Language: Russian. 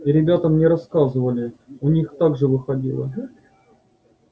и ребята мне рассказывали у них так же выходило